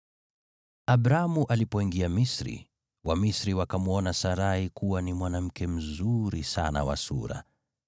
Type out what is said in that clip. Abramu alipoingia Misri, Wamisri wakamwona Sarai kuwa ni mwanamke mzuri sana wa sura.